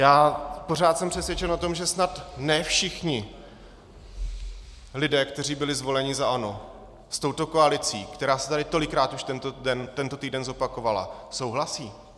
Já pořád jsem přesvědčen o tom, že snad ne všichni lidé, kteří byli zvoleni za ANO, s touto koalicí, která se tady tolikrát už tento týden zopakovala, souhlasí.